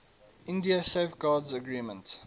india safeguards agreement